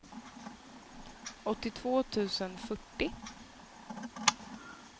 åttiotvå tusen fyrtio